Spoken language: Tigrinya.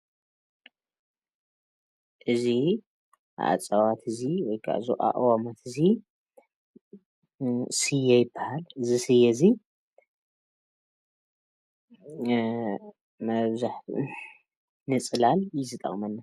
እዚ እፅዋት እዚ ወይካዓ እዚ ኣእዋም እዚ ስየ ይበሃል ::እዚ ሰየ እዚ መብዛሕተኡ ግዜ ንፅላል እዩ ዝጠቅመና::